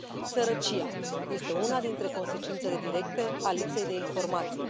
Sărăcia este una dintre consecințele directe a lipsei de informație.